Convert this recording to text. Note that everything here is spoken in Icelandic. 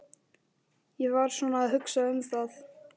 Ég var svona að hugsa um það.